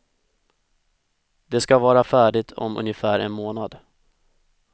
Det ska vara färdigt om ungefär en månad.